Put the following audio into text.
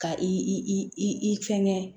Ka i fɛnkɛ